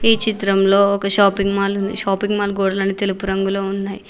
ఈ చిత్రంలో ఒక షాపింగ్ మాల్ ఉంది షాపింగ్ మాల్ గోడలన్నీ తెలుపు రంగులో ఉన్నాయి.